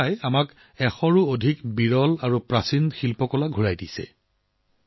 আমেৰিকাই আমাৰ ওচৰলৈ শতাধিক বিৰল আৰু প্ৰাচীন সামগ্ৰী ঘূৰাই দিছে